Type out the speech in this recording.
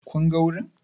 Kun ga wurin?